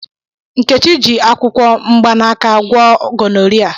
Nkechi ji akwukwo mgbanaka gwọọ gọnọria.